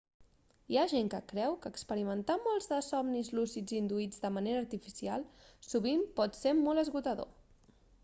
hi ha gent que creu que experimentar molts de somnis lúcids induïts de manera artificial sovint pot ser molt esgotador